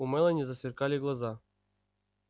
у мелани засверкали глаза